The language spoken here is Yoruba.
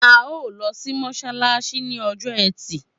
A o lọ sí mọsalasi ni ọjọ ẹtì